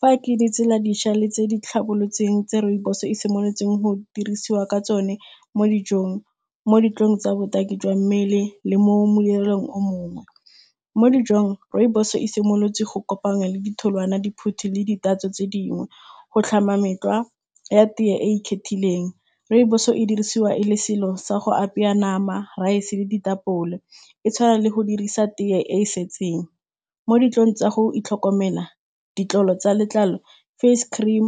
Fa ke ditsela dišwa tse di tlhabolotsweng tse rooibos-e e simolotseng go dirisiwa ka tsone mo dijong, mo ditlolong tsa botaki jwa mmele le mo molelong o mongwe. Mo dijong, rooibos-e e simolotse go kopanya le ditholwana, diphuthi le di tatso tse dingwe go tlhama metlwa ya tea e ikgethileng. Rooibos-e e dirisiwa e le selo sa go apaya nama, rice le ditapole, e tshwana le go dirisa tea e e setseng. Mo ditlolong tsa go itlhokomela, ditlolo tsa letlalo, face cream,